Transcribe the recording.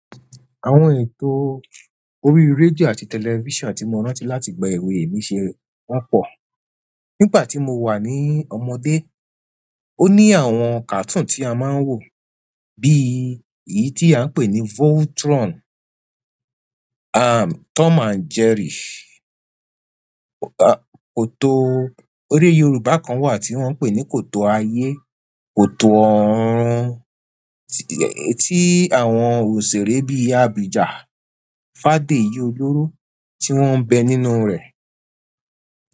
Àwọn ètò orí rédíò àti tẹlifísàn tí mo rántí láti ìgbà ewé mi ṣe wọ́n pọ̀. Nígbà tí mo wà ní ọmọdé, ó ní àwọn cartoon tí a máa ń wò bí èyí tí à ń pè ní Voltron, à Tom and Jerry. Koto ere Yorùbá kan wà tí wọ́n ń pè ní kòtò ayé, kòtò orún tí àwọn òṣèré bí Abija, Fádéyi oloro tí wọ́n ń bẹ nínú rẹ̀.